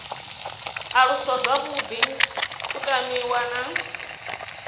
aluswa zwavhuḓi u tamiwa na